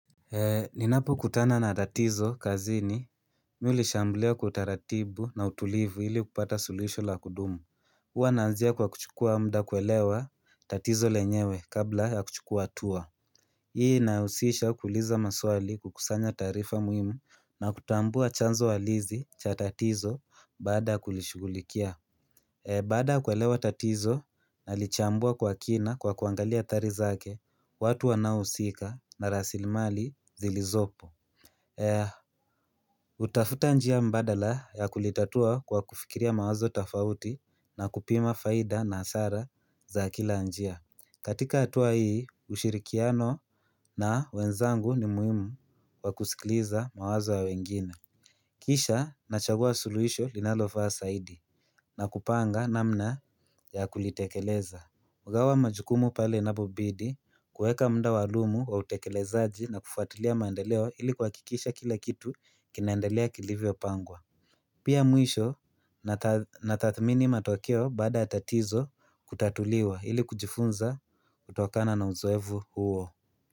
Ninapo kutana na tatizo kazini Mimi ulishamblia kwa utaratibu na utulivu ili kupata sulisho la kudumu hua naanzia kwa kuchukua muda kuelewa tatizo lenyewe kabla ya kuchukua hatua Hii inausisha kuuliza maswali kukusanya taarifa muhimu na kutambua chanzo halisi cha tatizo baada ya kulishugulikia Baada ya kuelewa tatizo, nalichambua kwa kina kwa kuangalia athari zake, watu wanauhusika na rasilimali zilizopo. Hutafuta njia mbadala ya kulitatua kwa kufikiria mawazo tafauti na kupima faida na hasara za kila njia. Katika hatua hii, ushirikiano na wenzangu ni muhimu kwa kusikiliza mawazo ya wengine. Kisha nachagua suluhisho linalofaa zaidi na kupanga namna ya kulitekeleza hugawa majukumu pale inapobidi kuweka muda walumu wa utekelezaaji na kufuatilia mandeleo ili kwa kuhakikisha kila kitu kinaendelea kilivyopangwa Pia mwisho natathmini matokeo baada ya tatatizo kutatuliwa ili kujifunza kutokana na uzoevu huo.